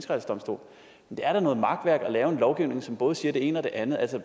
det er da noget makværk at lave en lovgivning som både siger det ene og det andet altså